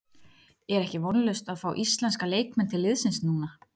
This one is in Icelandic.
Er ekki vonlaust að fá íslenska leikmenn til liðsins núna?